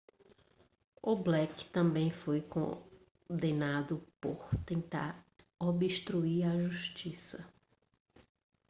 o blake também foi condenado por tentar obstruir a justiça